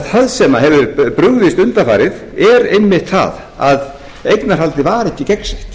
það sem hefur brugðist undanfarið er einmitt það að eignarhaldið var eða gegnsætt